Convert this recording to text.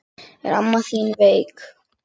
Er amma þín veik?